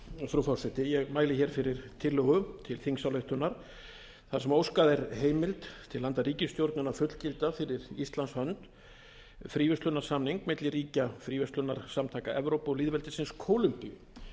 frú forseti ég mæli hér fyrir tillögu til þingsályktunar þar sem óskað er heimildar til handa ríkisstjórninni að fullgilda fyrir íslands hönd fríverslunarsamning milli ríkja fríverslunarsamtaka evrópu og lýðveldisins kólumbíu